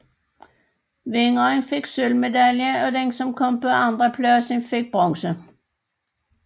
Vinderen fik sølvmedalje og den som kom på anenpladsen fik bronze